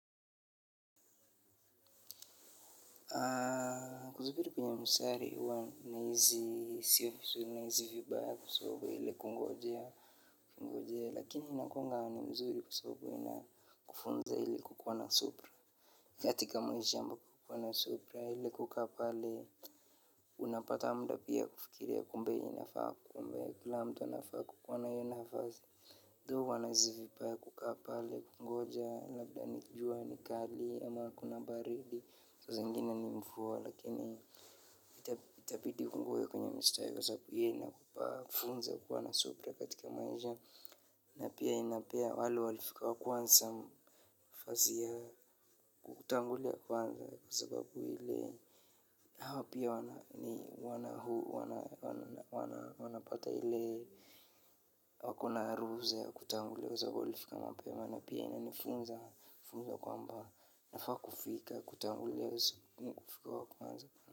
Kusubiri kwenye mstari huwa nahisi siyo vizuri nahisi vibaya kusubiri kungojea kungojea. Lakini inakuanga ni mzuri kwa sababu inakufunza ile kukuwa na subira. Katika maisha ambapo kuwa na subira ile kukaa pale. Unapata muda pia kufikiria kumbe inafaa. Kumbe kila mtu anafaa kukuwa na hiyo nafasi. Though huwa nahisi vibaya kukaa pale, kungoja, labda jua ni kali, ama kuna baridi. Saa zingine ni mvua lakini itabidi ungoje kwenye msitari kwa sababu hiyo inakupa funzo ya kuwa na subira katika maisha. Na pia inapea wale walifika wa kwanza nafasi ya kutangulia kwanza kwa sababu ile hao pia wana wanapata ile wako na ruhusa ya kutangulia kwa sababu walifika mapema na pia inanifunza funzo kwamba nafaa kufika kutangulia kufika wa kwanza.